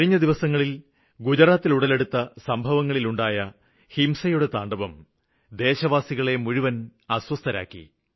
കഴിഞ്ഞ ദിവസങ്ങളില് ഗുജറാത്തില് ഉടലെടുത്ത സംഭവങ്ങള് ഹിംസയുടെ താണ്ഡവം ദേശവാസികളെ മുഴുവന് അസ്വസ്ഥരാക്കി